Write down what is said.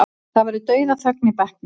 Það verður dauðaþögn í bekknum.